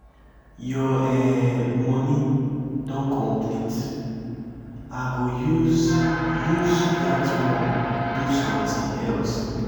your um money don complete i go use use dat wan do something else.